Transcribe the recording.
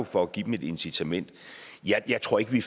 for at give dem et incitament jeg tror ikke vi